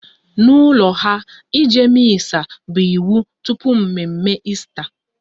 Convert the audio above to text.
N'ụlọ ha, ịje Missa bụ iwu tupu mme mme Esta